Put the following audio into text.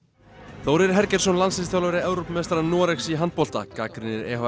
Þórir landsliðsþjálfari Evrópumeistara Noregs í handbolta gagnrýnir